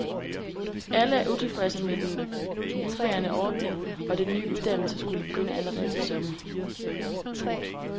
Alle er utilfredse med den nuværende ordning, og den ny uddannelse skulle begynde allerede til sommer.